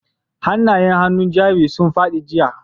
Hanayen hannun jari sun fadi jiya.